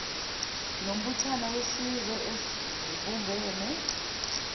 nombuthano wezizwe ezibumbene